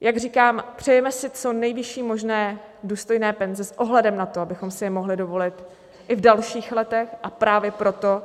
Jak říkám, přejeme si co nejvyšší možné důstojné penze s ohledem na to, abychom si je mohli dovolit i v dalších letech, a právě proto